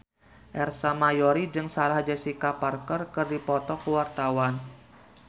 Ersa Mayori jeung Sarah Jessica Parker keur dipoto ku wartawan